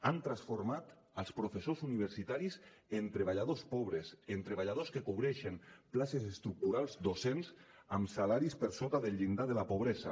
han transformat els professors universitaris en treballadors pobres en treballadors que cobreixen places estructurals docents amb salaris per sota del llindar de la pobresa